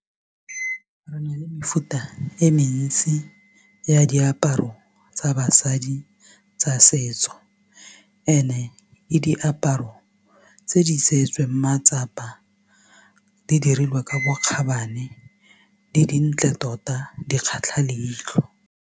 Re na le mefuta e mentsi ya diaparo tsa basadi tsa setso and-e le diaparo tse di tseetsweng matsapa di dirilwe ka bokgabane di dintle tota di kgatlha leitlho.